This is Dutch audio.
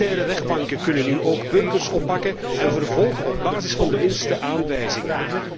Militaire rechtbanken kunnen nu ook burgers oppakken en vervolgen op basis van de minste aanwijzingen.